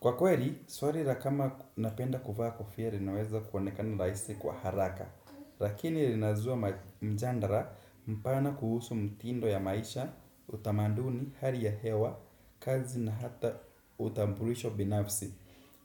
Kwa kweli, swali la kama napenda kuvaa kofia linaweza kuonekana rahisi kwa haraka. Lakini linazua mjadala mpana kuhusu mitindo ya maisha, utamanduni, hali ya hewa, kazi na hata utambulisho binafsi